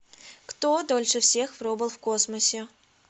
кто дольше всех пробыл в космосе